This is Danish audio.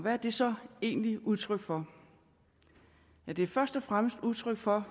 er det så egentlig udtryk for det er først og fremmest udtryk for